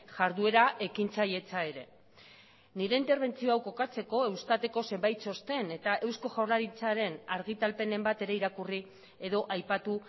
jarduera ekintzailetza ere nire interbentzio hau kokatzeko eustateko zenbait txosten eta eusko jaurlaritzaren argitalpenen bat ere irakurri edo aipatu